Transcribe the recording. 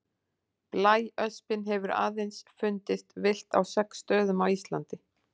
Blæöspin hefur aðeins fundist villt á sex stöðum á Íslandi.